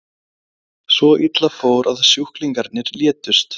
Svo illa fór að sjúklingarnir létust.